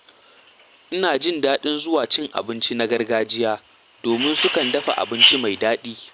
Ina jin daɗin zuwa gidan cin abinci na gargajiya domin sukan dafa abinci mai daɗi.